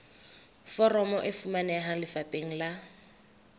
foromo e fumaneha lefapheng la